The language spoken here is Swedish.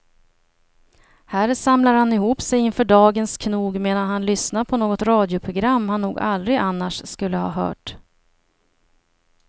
Här samlar han ihop sig inför dagens knog medan han lyssnar på något radioprogram han nog aldrig annars skulle ha hört.